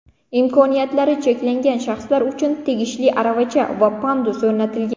Imkoniyatlari cheklangan shaxslar uchun tegishli aravacha va pandus o‘rnatilgan.